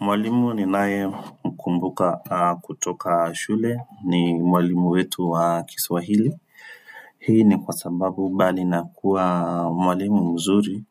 Mwalimu ni nae mkumbuka kutoka shule ni mwalimu wetu wa kiswahili hii ni kwa sababu mbali nakuwa mwalimu mzuri